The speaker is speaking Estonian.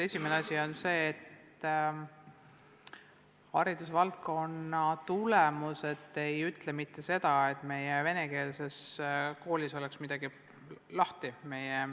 Esiteks, haridusvaldkonna tulemused ei ütle mitte seda, et meie venekeelses koolis on midagi lahti.